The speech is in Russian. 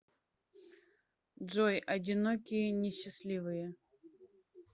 джой одинокие несчастливые